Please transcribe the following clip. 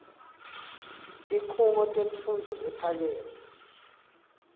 tikhungo temfundvo lephakeme